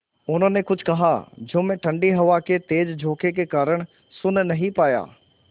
उन्होंने कुछ कहा जो मैं ठण्डी हवा के तेज़ झोंके के कारण सुन नहीं पाया